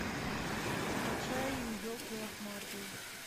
закачай елки лохматые